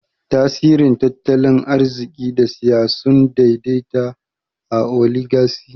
Tasirin tattalin arziki da siyasa sun daidaita a Oligaci.